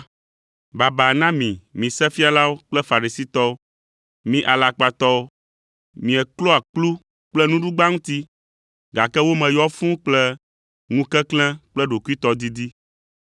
“Baba na mi, mi Sefialawo kple Farisitɔwo, mi alakpatɔwo! Mieklɔa kplu kple nuɖugba ŋuti, gake wo me yɔ fũu kple ŋukeklẽ kple ɖokuitɔdidi.